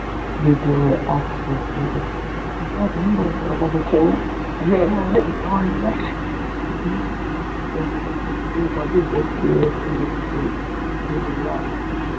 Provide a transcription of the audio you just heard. விடற ஒரு half break பார்த்தீங்கன்னா ரொம்ப ரொம்ப ரொம்ப முக்கியம் இந்த மாதிரி break இருக்கும் புரியுதுங்களா